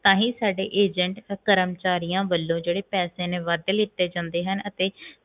ਤਾਹਿ ਸਾਡੇ agent ਕਰਮਚਾਰੀਆਂ ਵੱਲੋਂ ਪੈਸੇ ਨੇ ਵੱਧ ਲਿੱਟੇ ਜਾਂਦੇ ਹਨ ਅਤੇ